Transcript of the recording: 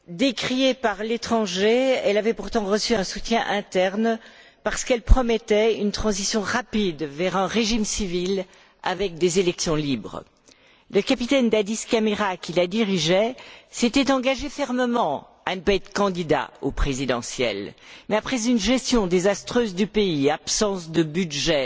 Décriée par l'étranger, elle avait pourtant reçu un soutien interne parce qu'elle promettait une transition rapide vers un régime civil avec des élections libres. Le capitaine Dadis Camara qui la dirigeait s'était engagé fermement à ne pas être candidat aux présidentielles, mais après une gestion désastreuse du pays absence de budget,